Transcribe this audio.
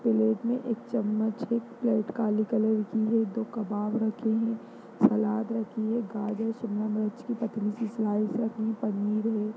Plate में एक चम्मच एक प्लेट काली कलर की है दो कवाब रखे हैं सलाद रखी है गाजर शिमला मिर्च की पतली सी स्लाइस रखी है पनीर है।